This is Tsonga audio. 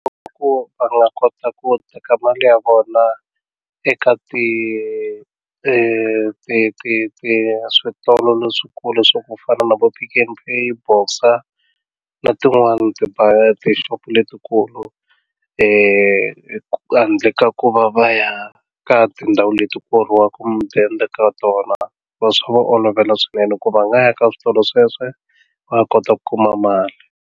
Ku va nga kota ku teka mali ya vona eka ti ti ti ti ti switolo leswikulu swa ku fana na vo Pick n Pay, Boxer na tin'wani tixopo letikulu leti endlaka ku va va ya ka tindhawu leti ku horiwaka mudende ka tona va swi va olovela swinene ku va nga ya ka switolo sweswo va kota ku kuma mali.